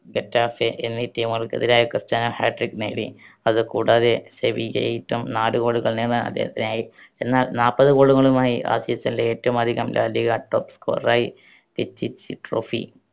Getafe എന്നീ team കൾക്കെതിരെ Cristiano hat trick നേടി. അത് കൂടാതെ നാല് goal കൾ നേടാൻ അദ്ദേഹത്തിനായി. എന്നാൽ നാൽപത് goal കളുമായി ആ season ലെ ഏറ്റവും അധികം ലാലിഗ top scorer യി trophy